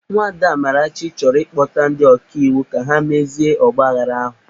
Nwada Amarachi chọrọ ịkpọta ndi ọkaiwu ka ha mezie ọgbaaghara ahụ.